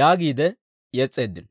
yaagiide yes's'eeddino.